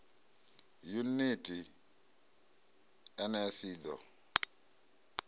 yuniti nls i d o